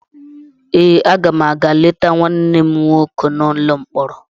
Ee, aga m a ga-leta nwanne m nwoke n’ụlọ mkpọrọ.